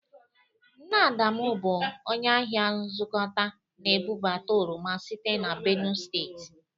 Nne Adamụ bụ onye ahịa nzụkọta na-ebụbata oroma site na Benu steeti